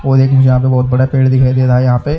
और एक जहाँ पे बहोत बड़ा पेड़ दिखइ दे रहा यहाँ पे--